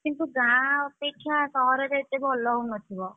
କିନ୍ତୁ ଗାଁ ଅପେକ୍ଷା ସହରରେ ଏତେ ଭଲ ହଉନଥିବ?